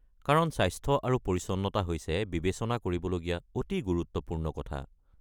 কাৰণ স্বাস্থ্য আৰু পৰিচ্ছন্নতা হৈছে বিবেচনা কৰিবলগীয়া অতি গুৰুত্বপূৰ্ণ কথা।